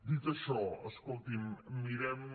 dit això escolti’m mirem